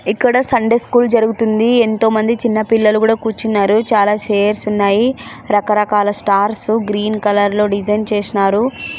ఇక్కడ Sunday school జరు.గుతుంది. ఎంతో మంది చిన్న పిల్లలు కూడా కూర్చున్నారు.. చాల చైర్స్ ఉన్నాయి. రకరకాల స్టార్ట్ సు గ్రీన్ కలర్ డిసైన్ చేసినారు.